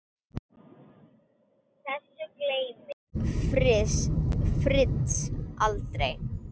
Þessu gleymir Fritz aldrei.